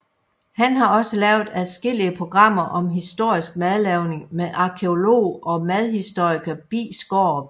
Han har også lavet adskillige programmer om historisk madlavning med arkæolog og madhistoriker Bi Skaarup